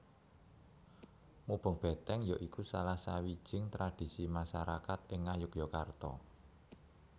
Mubeng Beteng ya iku salah sawijing tradisi masarakat ing Ngayogyakarta